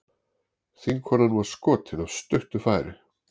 Þingkonan var skotin af stuttu færi